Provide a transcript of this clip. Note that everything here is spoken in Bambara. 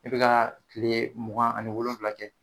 E be ga kile mugan ani wolonwula kɛ